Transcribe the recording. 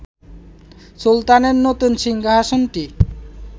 সুলতানের নতুন সিংহাসনটিই